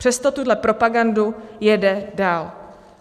Přesto tuhle propagandu jede dál.